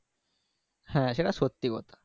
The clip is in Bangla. হ্যাঁ সেটা সত্যি কথা।